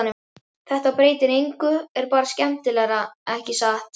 Þetta breytir engu er bara skemmtilegra, ekki satt?